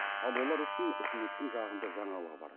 ал олар үшін үкіметтің жағымды жаңалығы бар